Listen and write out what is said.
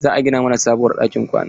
Za a gina mana sabuwar ɗakin kwana.